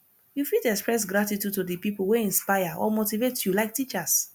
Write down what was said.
you fit express gratitude to di people wey inspire or motivate you like teachers